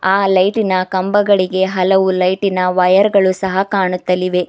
ಆ ಲೈಟಿನ ಕಂಬಗಳಿಗೆ ಹಲವು ಲೈಟಿನ ವೈಯರ್ ಗಳು ಸಹ ಕಾಣುತ್ತಳಿವೆ.